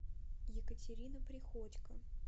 екатерина приходько